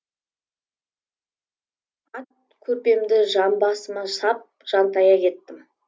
ат көрпемді жамбасыма сап жантая кеттім